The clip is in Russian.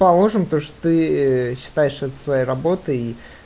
положим то что ты считаешь это своей работой